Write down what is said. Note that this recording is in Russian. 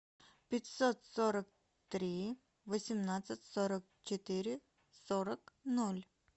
пятьсот сорок три восемнадцать сорок четыре сорок ноль